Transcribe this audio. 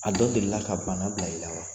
A dɔ deli la ka bana bila i la wa?